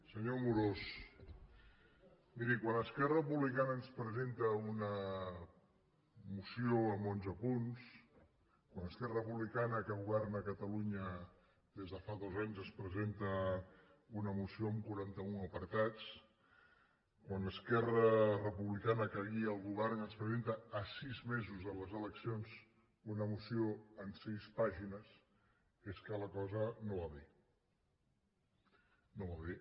senyor amorós miri quan esquerra republicana ens presenta una moció amb onze punts quan esquerra republicana que governa catalunya des de fa dos anys ens presenta una moció amb quaranta un apartats quan esquerra republicana que guia el govern ens presenta a sis mesos de les eleccions una moció amb sis pàgines és que la cosa no va bé no va bé